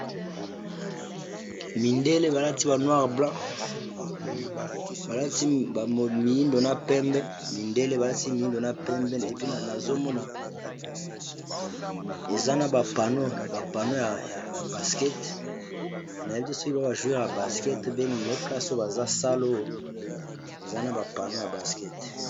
Mindele balati ba noire blanc balati miindo na pembe mindele balati miindo na pembe epi nazomona eza na ba pano ya baskete na yebi te soki baza ba jouer ya baskete ou bien Nini mais nayebi kaka sale oyo eza na ba pano ya baskete.